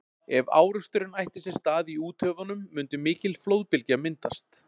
Ef áreksturinn ætti sér stað í úthöfunum mundi mikil flóðbylgja myndast.